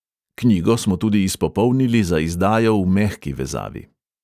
Knjigo smo tudi izpopolnili za izdajo v mehki vezavi.